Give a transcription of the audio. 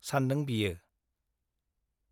सानदों बियो ।